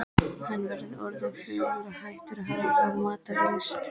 Hann var orðinn fölur og hættur að hafa matarlyst.